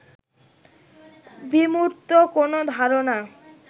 বিমূর্ত কোন ধারণা